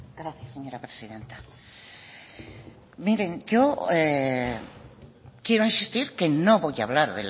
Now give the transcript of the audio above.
gracias señora presidenta yo quiero insistir que no voy a hablar